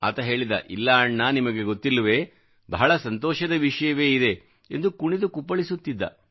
ಆತ ಹೇಳಿದ ಇಲ್ಲ ಅಣ್ಣ ನಿಮಗೆ ಗೊತ್ತಿಲ್ಲವೇ ಬಹಳ ಸಂತೋಷದ ವಿಷಯವೇ ಇದೆ ಎಂದು ಕುಣಿದು ಕುಪ್ಪಳಿಸುತ್ತಿದ್ದ